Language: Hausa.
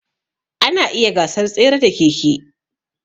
Ana iya gasar tsere da keke.